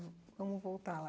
Vamos voltar lá.